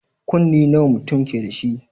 Kunne nawa mutun keda shi